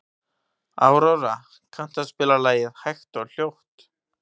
Aurora, kanntu að spila lagið „Hægt og hljótt“?